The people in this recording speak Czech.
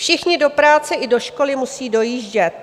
Všichni do práce i do školy musí dojíždět.